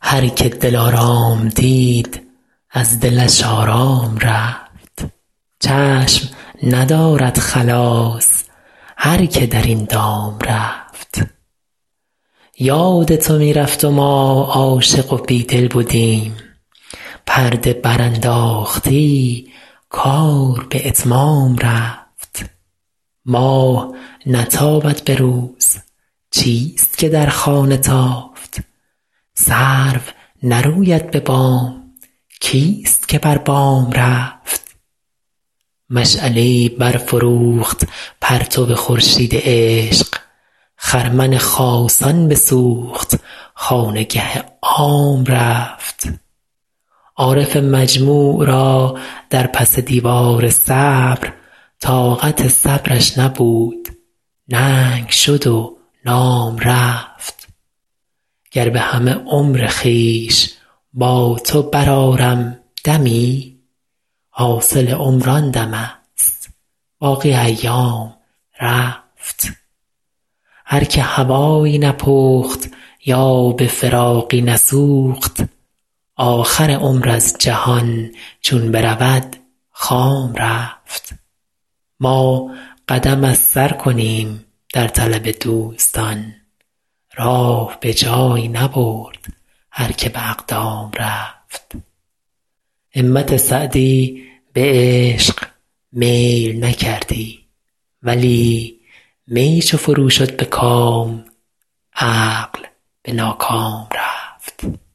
هر که دلارام دید از دلش آرام رفت چشم ندارد خلاص هر که در این دام رفت یاد تو می رفت و ما عاشق و بیدل بدیم پرده برانداختی کار به اتمام رفت ماه نتابد به روز چیست که در خانه تافت سرو نروید به بام کیست که بر بام رفت مشعله ای برفروخت پرتو خورشید عشق خرمن خاصان بسوخت خانگه عام رفت عارف مجموع را در پس دیوار صبر طاقت صبرش نبود ننگ شد و نام رفت گر به همه عمر خویش با تو برآرم دمی حاصل عمر آن دمست باقی ایام رفت هر که هوایی نپخت یا به فراقی نسوخت آخر عمر از جهان چون برود خام رفت ما قدم از سر کنیم در طلب دوستان راه به جایی نبرد هر که به اقدام رفت همت سعدی به عشق میل نکردی ولی می چو فرو شد به کام عقل به ناکام رفت